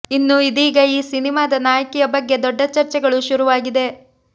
ಇನ್ನು ಇದೀಗ ಈ ಸಿನಿಮಾದ ನಾಯಕಿಯ ಬಗ್ಗೆ ದೊಡ್ಡ ಚರ್ಚೆಗಳು ಶುರುವಾಗಿದೆ